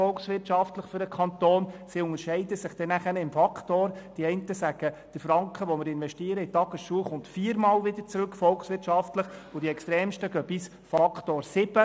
Die einen sagen, der in Tagesschulen investierte Franken komme volkswirtschaftlich vierfach zurück, die anderen sprechen von einem Extrem von Faktor sieben.